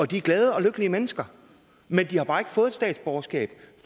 de er glade og lykkelige mennesker men de har bare ikke fået et statsborgerskab